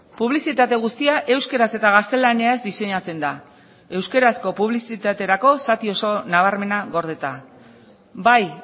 publizitate guztia euskaraz eta gaztelaniaz diseinatzen da euskarazko publizitaterako zati oso nabarmena gordeta bai